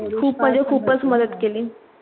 खूप म्हणजे खूपच मदत केली.